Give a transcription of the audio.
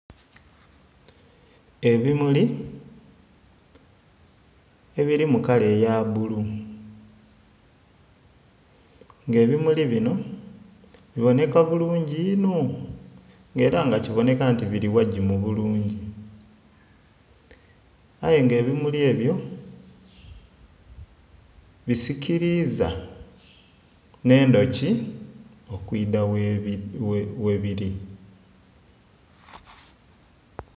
Ebimuli, ebili mu kala eya bbulu, nga ebimuli binho bibonheka bulungi inho, nga era nga kibonheka nti bili ghagimu bulungi. Aye nga ebimuli ebyo bisikiliiza nh'endhuki okwidha ghebili.